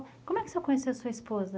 Como é que o senhor conheceu a sua esposa?